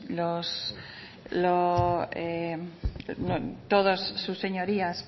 todos sus señorías